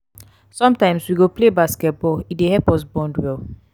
sometimes we go play basketball; e dey help us bond well.